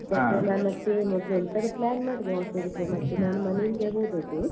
ಮತ್ತೆ ಮೊದ್ಲ್ ಒಂದ್ಸಲ plan ಮಾಡಿದೆ hostel ಹೋಗ್ಲಿಕ್ಕೆ ಮತ್ತೆ ನಾನ್ ಮನೆ ಇಂದಾನೆ ಹೋದದ್ದು.